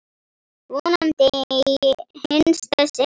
Vonandi í hinsta sinn.